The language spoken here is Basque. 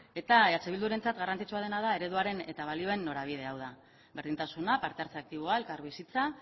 eta eh bildurentzat garrantzitsua dena da ereduaren eta balioen norabidea hau da berdintasuna parte hartze aktiboa elkarbizitza